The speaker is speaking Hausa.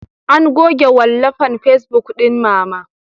An goge wallafan facebuk ɗin Mama.